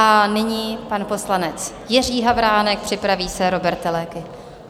A nyní pan poslanec Jiří Havránek, připraví se Róbert Teleky.